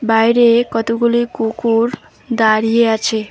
বাইরে কতগুলি কুকুর দাঁড়িয়ে আছে।